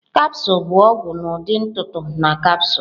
Capsule bụ ọgwụ n'ụdị ntụ ntụ na capsule.